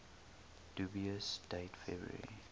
dubious date february